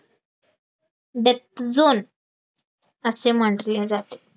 death zone असे म्हटले जाते